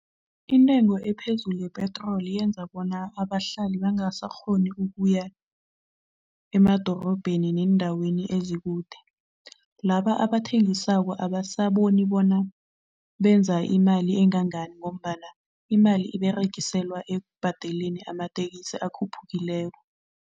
Intengo ephezulu yepetroli yenza bona abahlali bangasakghoni ukuya emadorobheni neendaweni ezikude. Laba abathengisako abasaboni bona benza imali engangani ngombana imali iberegiselwa ekubhadeleni amatekisi akhuphukileko.